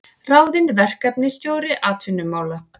Ráðinn verkefnisstjóri atvinnumála